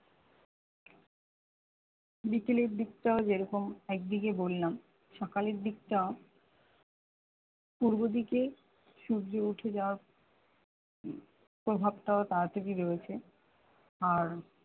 বিকেলের দিকটাও যেরকম একদিকে বললাম সকালের দিকটা পূর্ব দিকে সূর্য উঠে যাওয়ার প্রভাবটাও তাড়াতাড়ি রয়েছে আর